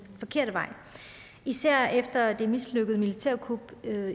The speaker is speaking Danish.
forkerte vej især efter det mislykkede militærkup